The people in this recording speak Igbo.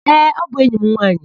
Ee, ọ bụ enyi m nwaanyị.